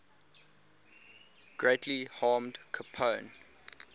greatly harmed capone